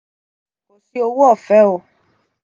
Fi owo ọfẹ o.